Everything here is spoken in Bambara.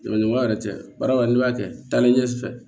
Jamaɲɔgɔn yɛrɛ tɛ baara la n'i b'a kɛ taalen ɲɛfɛ